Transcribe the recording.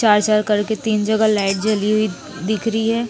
चार-चार कलर की तीन जगह लाइट जली हुई दिख रही है।